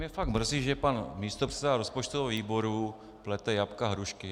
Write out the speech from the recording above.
Mě fakt mrzí, že pan místopředseda rozpočtového výboru plete jablka, hrušky.